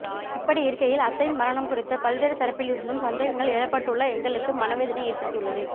இப்படியிருக்கையில் அத்தையின் மரணம் குறித்து பல்வேறு தரப்பில் இருந்தும் சந்தேகங்கள் எழுப்பப்பட்டுள்ள எங்களுக்கு மனதேவதனையை ஏற்படுத்தியுள்ளது